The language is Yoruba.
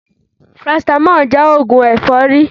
Parasitamọ́ọ̀ jẹ́ oògùn ẹ̀fọ́rí